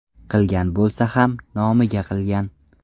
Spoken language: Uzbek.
Qilgan bo‘lsa ham, nomiga qilgan.